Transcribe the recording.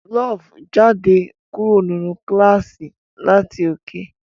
Love jáde kúrò nínú kílàsì láti òkè.